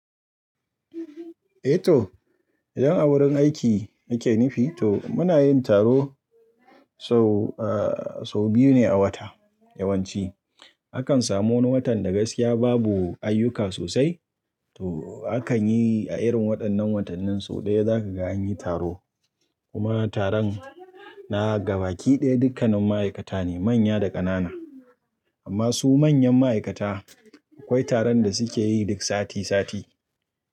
Eh to, idan a wurin aiki muke nufi to muna yin taro sau, eh sau biyu ne a wata yawanci. Akan samu wani watan da gaskiya babu ayyuka sosai to akan yi a irin waɗannan watannin sau ɗaya za ka ga an yi taro. Kuma taron na gaba kiɗaya dukkannin ma'aikata ne manya da ƙanana. Amma su manyan ma'aikata akwai taron da suke yi duk sati sati.